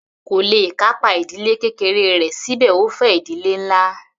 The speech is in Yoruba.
Kò le kápá ìdílé kékeré rẹ̀ síbẹ̀ ó fẹ́ ìdílé ńlá.